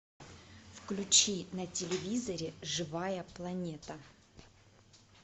включи на телевизоре живая планета